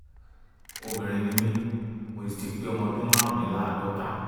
um obìnrin ni mí mo sì ti pé ọmọ ọdún márùndínláàádọ́ta